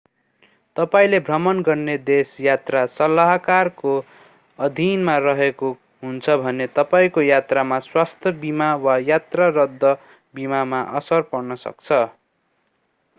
तपाईंले भ्रमण गर्ने देश यात्रा सल्लाहकारको अधीनमा रहेको हुन्छ भने तपाईंको यात्रामा स्वास्थ्य बीमा वा यात्रा रद्द बीमामा असर पर्न सक्छ